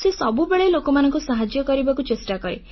ସେ ସବୁବେଳେ ଲୋକମାନଙ୍କୁ ସାହାଯ୍ୟ କରିବାକୁ ଚେଷ୍ଟା କରେ